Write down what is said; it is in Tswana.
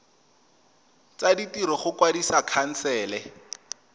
tsa ditiro go kwadisa khansele